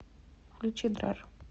включи драр